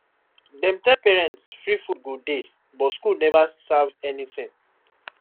dem tell parents free food go dey but school never serve anything